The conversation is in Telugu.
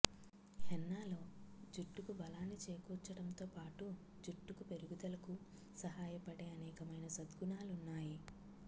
హెన్నాలో జుట్టుకు బలాన్ని చేకూర్చడంతో పాటు జుట్టుకు పెరుగుదలకు సహాయపడే అనేకమైన సద్గుణాలున్నాయి